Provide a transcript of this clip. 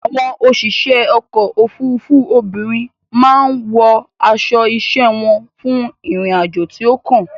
Àwọn òṣìṣẹ́ ọkò òfurufú obìnrin má a wọ aṣo iṣẹ́ wọn fún ìrìn àjò tí ó kàn.